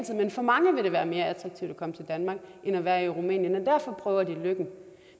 vil for mange være mere attraktivt at komme til danmark end at være i rumænien og derfor prøver de lykken